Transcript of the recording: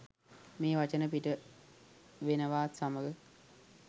මේ වචන පිට වෙනවාත් සමඟ